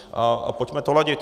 A pojďme to ladit.